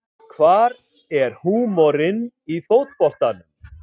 Hvar er húmorinn í fótboltanum